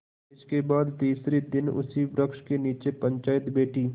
इसके बाद तीसरे दिन उसी वृक्ष के नीचे पंचायत बैठी